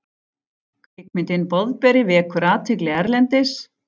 Kvikmyndin Boðberi vekur athygli erlendis